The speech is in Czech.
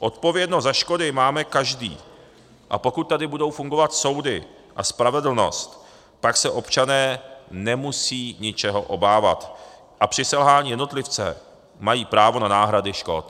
Odpovědnost za škody máme každý, a pokud tady budou fungovat soudy a spravedlnost, tak se občané nemusí ničeho obávat a při selhání jednotlivce mají právo na náhradu škod.